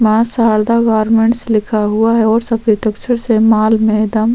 माँ शारदा गारमेंट्स लिखा हुआ है सफ़ेद अक्षर से माल मे दम--